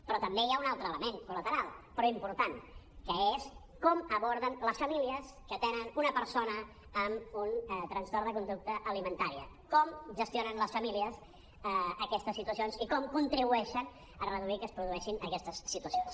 però també hi ha un altre element col·lateral però important que és com ho aborden les famílies que tenen una persona amb un trastorn de conducta alimentària com gestionen les famílies aquestes situacions i com contribueixen a reduir que es produeixin aquestes situacions